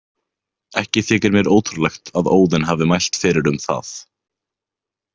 Ekki þykir mér ótrúlegt að Óðinn hafi mælt fyrir um það.